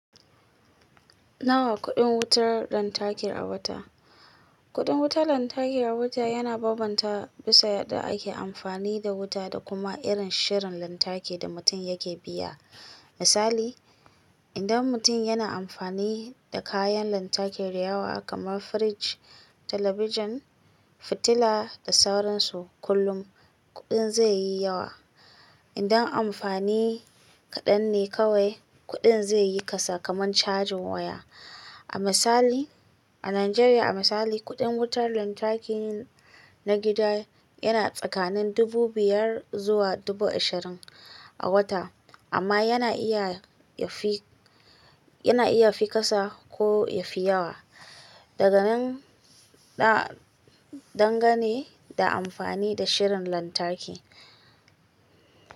Nawa kuɗin wutar lantarki a wata? Kuɗin wutar lantarki a wata yana bambanta bisa yadda ake amfani da wuta da kuma irin shirin lantarki da mutum yake biya. Misali, idan mutum yana amfani da kayan lantarki da yawa kamar firiji, talabijin, fitila da sauransu kullum, kuɗin zai yi yawa. Idan amfani kaɗan ne kawai, kuɗin zai yi kasa kamar cajin waya. A misali, a Najeriya a misali, kuɗin wutar lantarki na gida yana tsakanin dubu biyar zuwa dubu ishirin a wata, amma yana iya ya fi, yana iya fi kasa ko ya fi yawa, daga nan dangane da amfani da shirin lantarki.